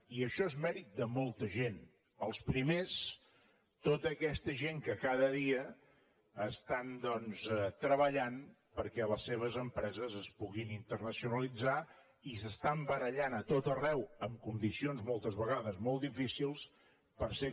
i això és mèrit de molta gent els primers tota aquesta gent que cada dia estan doncs treballant perquè les seves empreses es puguin internacionalitzar i s’estan barallant a tot arreu en condicions moltes vegades molt difícils per ser competitius i per ser atractius en els mercats internacionals